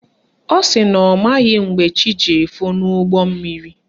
Ọ sị na ọ maghị mgbe chi ji efo n'ime ụgbọmmiri